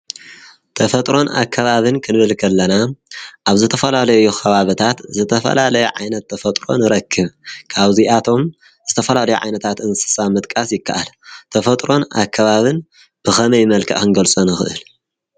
ተፈጥሮን ኣከባብን ክንብል ክ ኣለና ኣብ ዘተፈላለዮ ኸባበታት ዘተፈላለይ ዓይነት ተፈጥሮን ረክብ ካብዚይ ኣቶም ዘተፈላለይ ዓይነታት እንስሳ ምጥቃስ ይከኣል ተፈጥሮን ኣከባብን ብኸመይ መልከእ ኽንገልጸንኽእል?